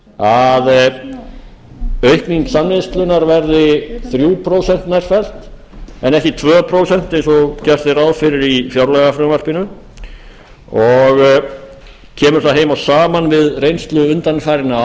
að aukning samneyslunnar verði þrjú prósent nærfellt en ekki tvö prósent eins og gert er ráð fyrir í fjárlagafrumvarpinu og kemur það heim og saman við reynslu undanfarinna